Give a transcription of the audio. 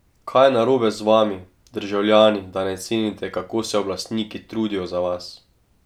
Kaj je narobe z vami, državljani, da ne cenite, kako se oblastniki trudijo za vas?